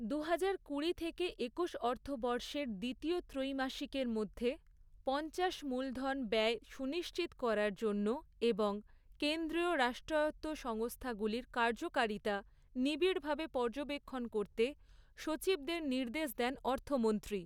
দুহাজার কুড়ি থেকে, একুশ অর্থবর্ষের দ্বিতীয় ত্রৈমাসিকের মধ্যে, পঞ্চাশ মূলধন ব্যয় সনুিশ্চিত করার জন্য এবং কেন্দ্রীয় রাষ্ট্রায়ত্ত সংস্থাগুলির কার্যকারিতা, নিবিড়ভাবে পর্যবেক্ষণ করতে, সচিবদের নির্দেশ দেন অর্থমন্ত্রী।